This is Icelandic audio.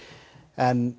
en